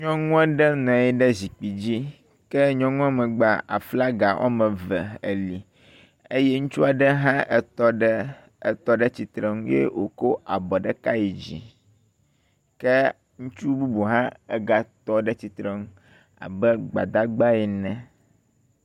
Nyɔnu aɖe nɔ anyi ɖe zikpui dzi, ke nyɔnua megbea aflaga woame eve ele eye Ŋutsu aɖe hã etɔ ɖe tsitrenu eye wòkɔ abɔ ɖeka yi dzi ke Ŋutsu hã egatɔ ɖe tsitrenu abe gbadagba ene.